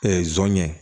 zon ye